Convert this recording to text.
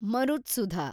ಮರುತ್ಸುಧ